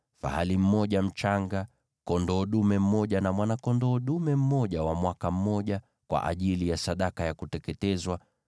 fahali mmoja mchanga, kondoo dume mmoja na mwana-kondoo dume mmoja wa mwaka mmoja, kwa ajili ya sadaka ya kuteketezwa;